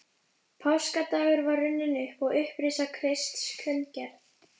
Páskadagur var upp runninn og upprisa Krists kunngerð.